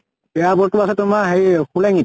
airport টো আছে তোমাৰ হেই শুলেঙিত